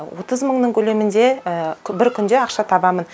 отыз мыңның көлемінде бір күнде ақша табамын